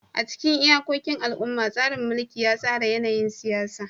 A cikin iyakokin al'umma, tsarin mulki ya tsara yanayin siyasa.